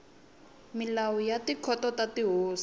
milawu ya tikhoto ta tihosi